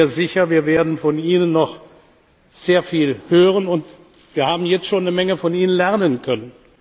Ich bin mir sicher, wir werden noch sehr viel von Ihnen hören, und wir haben jetzt schon eine Menge von Ihnen lernen können.